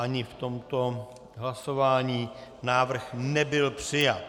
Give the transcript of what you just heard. Ani v tomto hlasování návrh nebyl přijat.